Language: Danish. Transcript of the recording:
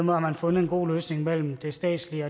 har man fundet en god løsning mellem det statslige